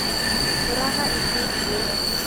ũraga itindiĩ